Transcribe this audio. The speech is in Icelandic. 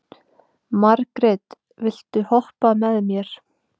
Margit, viltu hoppa með mér?